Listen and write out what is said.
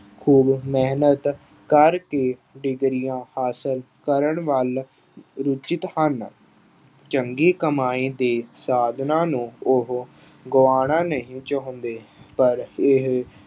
ਖੂਬ ਮਿਹਨਤ ਕਰਕੇ ਡਿਗਰੀਆਂ ਹਾਸਲ ਕਰਨ ਵੱਲ ਰੁਚਿਤ ਹਨ। ਚੰਗੀ ਕਮਾਈ ਦੇ ਸਾਧਨਾਂ ਨੂੰ ਉਹ ਗੁਆਉਣਾ ਨਹੀਂ ਚਾਹੁੰਦੇ। ਪਰ ਇਹ